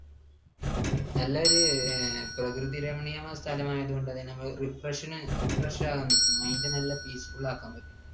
നല്ലൊരു പ്രകൃതിരമണീയമായ സ്ഥലം ആയതുകൊണ്ടുതന്നെ refresh ന്, refresh ആക്കാൻ പറ്റും. mind നല്ല peaceful ആക്കാൻ പറ്റും.